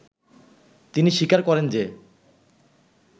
তিনি স্বীকার করেন যে